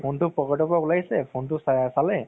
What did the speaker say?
phone তো pocket ৰ পৰা উলাইছে phone তো চালেই